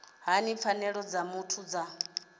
hani pfanelo dza muthu dza